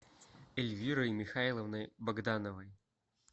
эльвирой михайловной богдановой